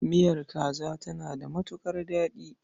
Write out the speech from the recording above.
Miyar kaza tana da matuƙar daɗi.